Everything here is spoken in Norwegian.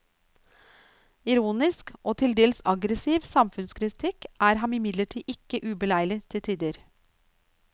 Ironisk, og tildels aggressiv samfunnskritikk er ham imidlertid ikke ubeleilig til tider.